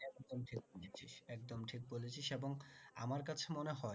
একদম ঠিক বলেছিস একদম ঠিক বলেছিস এবং আমার কাছে মনে হয়